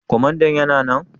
Kwamandan yana nan?